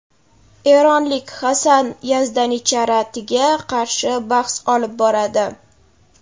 eronlik Hassan Yazdanicharatiga qarshi bahs olib boradi;.